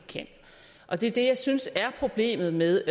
og det er det jeg synes er problemet med